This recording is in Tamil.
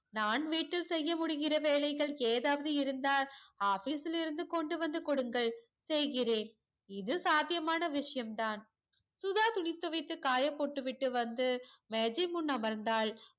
நான் வீட்டில் செய்ய முடிகிற வேலைகள் ஏதாவது இருந்தால் office யில் இருந்து கொண்டுவந்து கொடுங்கள் செய்கிறேன் இது சாத்தியமான விஷயம் தான் சுதா துணி துவைத்து காய போட்டுவிட்டு வந்து மேஜை முன் அமர்ந்தாள்